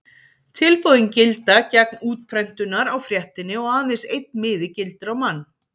Tilboðin gilda gegn útprentunar á fréttinni og aðeins einn miði gildir á mann.